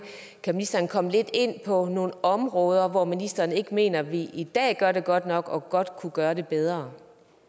kan ministeren komme lidt ind på nogle områder hvor ministeren ikke mener vi i dag gør det godt nok og godt kunne gøre det bedre